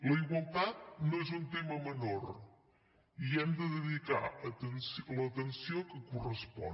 la igualtat no és un tema menor i hi hem de dedicar l’atenció que correspon